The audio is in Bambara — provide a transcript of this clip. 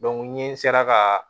n ye sera ka